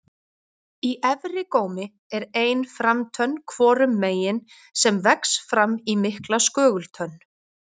Í efri gómi er ein framtönn hvorum megin sem vex fram í mikla skögultönn.